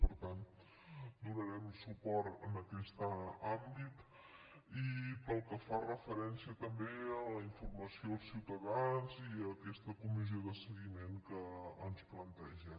per tant donarem suport a aquest àmbit i pel que fa referència també a la infor·mació als ciutadans i a aquesta comissió de seguiment que ens planteja